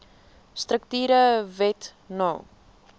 strukture wet no